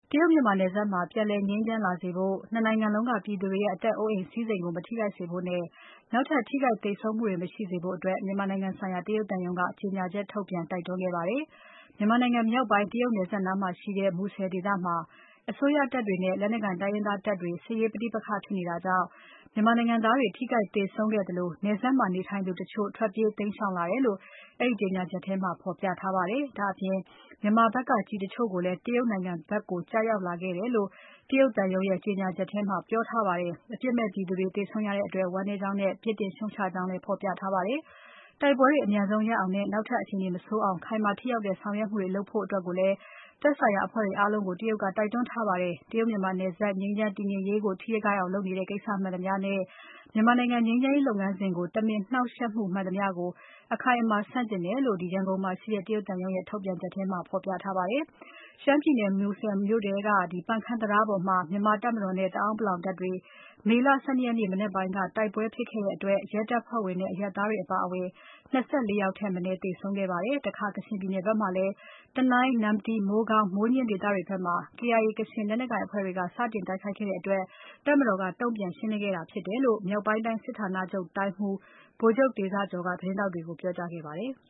တရုတ် မြန်မာနယ်စပ်မှာ ပြန်လည်ငြိမ်းချမ်းလာစေဖို့ ၂ နိုင်ငံလုံးက ပြည်သူတွေရဲ့ အသက်အိုးအိမ်စည်းစိမ်ကို မထိခိုက်စေဖို့နဲ့ နောက်ထပ် ထိခိုက်သေဆုံးမှုတွေ မရှိစေဖို့အတွက် မြန်မာနိုင်ငံဆိုင်ရာ တရုတ်သံရုံးက ကြေညာချက်ထုတ်ပြန် တိုက်တွန်းခဲ့ပါတယ်။ မြန်မာနိုင်ငံမြောက်ပိုင်း တရုတ်နယ်စပ်နားမှာရှိတဲ့ မူဆယ်ဒေသမှာ အစိုးရတပ်တွေနဲ့ လက်နက်ကိုင် တိုင်းရင်းသားတပ်တွေ စစ်ရေးပဋိပက္ခဖြစ်နေတာကြောင့် မြန်မာနိုင်ငံသားတွေ ထိခိုက်သေဆုံးခဲ့သလို နယ်စပ်မှာနေထိုင်သူတချို့ ထွက်ပြေးတိမ်းရှောင်လာတယ်လို့ အဲဒီကြေညာချက်မှာ ဖော်ပြထားပါတယ်။ ဒါ့အပြင် မြန်မာဖက်က ကျည်တချို့လည်း တရုတ်နိုင်ငံဖက်ကို ကျရောက်လာတယ်လို့ တရုတ်သံရုံးရဲ့ ကြေညာချက်မှာ ပြောထားပါတယ်။ အပြစ်မဲ့ပြည်သူတွေ သေဆုံးရတဲ့အတွက် ဝမ်းနည်းကြောင်းနဲ့ ပြစ်တင်ရှုံ့ချကြောင်းလည်း ဖော်ပြထားပါတယ်။ တိုက်ပွဲတွေ အမြန်ဆုံးရပ်အောင်နဲ့ နောက်ထပ်အခြေအနေမဆိုးအောင် ခိုင်မာထိရောက်တဲ့ဆောင်ရွက်မှုတွေ လုပ်ကြဖို့လည်း သက်ဆိုင်ရာအဖွဲ့တွေအားလုံးကို တရုတ်က တိုက်တွန်းထားပါတယ်။ တရုတ် မြန်မာနယ်စပ် ငြိမ်းချမ်းတည်ငြိမ်ရေးကို ထိခိုက်အောင်လုပ်နေတဲ့ ကိစ္စမှန်သမျှနဲ့ မြန်မာနိုင်ငံငြိမ်းချမ်းရေးလုပ်ငန်းစဉ်ကို တမင်နှောင့်ယှက်မှု မှန်သမျှကို အခိုင်အမာဆန့်ကျင်တယ်လို့ ရန်ကုန်မှာရှိတဲ့ တရုတ်သံရုံးရဲ့ ထုတ်ပြန်ချက်ထဲမှာ ဖော်ပြထားပါတယ်။ မူဆယ်မြို့နယ်ထဲက ပန်ခမ်းတံတားပေါ်မှာ မြန်မာတပ်မတော်နဲ့ တအောင်းပလောင်တပ်တွေ မေလ ၁၂ရက်နေ့ မနက်ပိုင်း ကတိုက်ပွဲတွေဖြစ်ခဲ့တဲ့အတွက် ရဲတပ်ဖွဲ့ဝင်နဲ့ အရပ်သားတွေအပါအဝင် ၂၄ ယောက်ထက်မနည်း သေဆုံးခဲ့ပါတယ်။ တခါ ကချင်ပြည်နယ်ဖက်မှာလည်း တနိုင်း၊ နမ္မတီ၊ မိုးကောင်း၊ မိုးညှင်းဒေသတွေဖက်မှာ KIA ကချင်လက်နက်ကိုင်အဖွဲ့တွေက စတင်တိုက်ခိုက်တဲ့အတွက် တပ်မတော်က တုံ့ပြန်ရှင်းလင်းခဲ့တာဖြစ်တယ်လို့ မြောက်ပိုင်းတိုင်း စစ်ဌာနချုပ်တိုင်းမှူး ဗိုလ်ချုပ်တေဇကျော်က သတင်းထောက်တွေကို ပြောကြားခဲ့ပါတယ်။